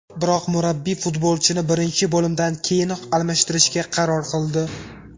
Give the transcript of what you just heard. Biroq murabbiy futbolchini birinchi bo‘limdan keyinoq almashtirishga qaror qildi.